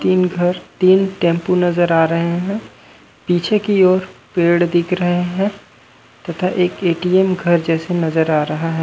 तीन घर तीन टैम्पो नज़र आ रहे हे पीछे की ओर पेड़ दिख रहे हे तथा एक ए.टी .एम घर जैसे नज़र आ रहा हें।